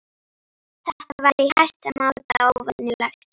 Þetta var í hæsta máta óvenjulegt.